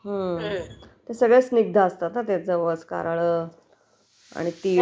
हम्म...ते सगळेच पदार्थ स्निग्ध असतात ना..जवसं..कारळ..तीळ